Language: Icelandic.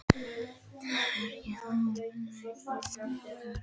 Myrkvi, hvað er opið lengi í Almannaróm?